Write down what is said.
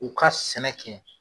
U ka sɛnɛ kɛ